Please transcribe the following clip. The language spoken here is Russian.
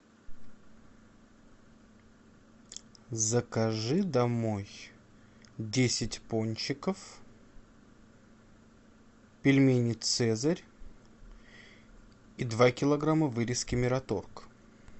закажи домой десять пончиков пельмени цезарь и два килограмма вырезки мираторг